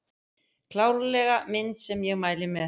Klárlega mynd sem ég mæli með